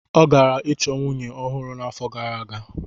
Ọ gara ịchọ nwunye ọhụrụ n'afọ gara aga.